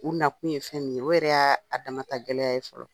U na kun ye fɛn min ye, o yɛrɛ y'a a da ma ka gɛlɛya ye fɔlɔ.